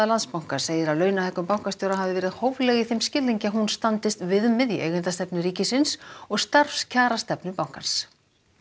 Landsbankans segir að launahækkun bankastjóra hafi verið hófleg í þeim skilningi að hún standist viðmið í eigendastefnu ríkisins og starfskjarastefnu bankans